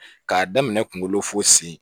K'a daminɛ kunkolo fo sen